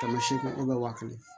Kɛmɛ seegin waa kelen